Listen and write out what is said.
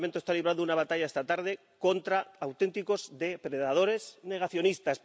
Este Parlamento está librando una batalla esta tarde contra auténticos depredadores negacionistas.